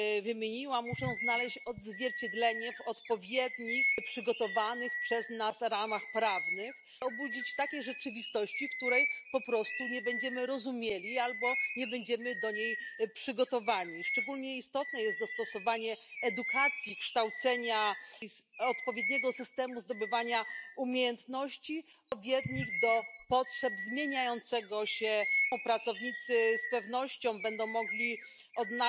zahtijevaju od država članica da prilagode svoje sustave obrazovanja budućim, novim zahtjevima tržišta rada, posebice u automobilskoj industriji. Sektoru inovacija i istraživanja potrebno je dati punu potporu kako u financijskom, tako i u regulatornom smislu, a specijalnu potporu u tom sektoru moraju uživati mala i srednja poduzetništva koji su motori gospodarskog razvoja u svim zdravim tržišnim ekonomijama. Hvala lijepa.